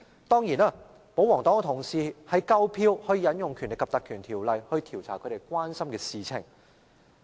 當然，保皇黨同事已有足夠票數引用《立法會條例》調查他們關心的事情。